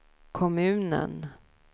kommunen